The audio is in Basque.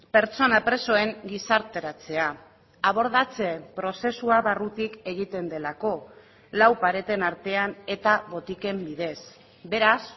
pertsona presoen gizarteratzea abordatze prozesua barrutik egiten delako lau pareten artean eta botiken bidez beraz